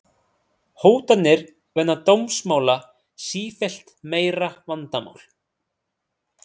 Hótanir vegna dómsmála sífellt meira vandamál